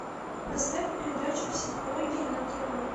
поставь передачу психология на тв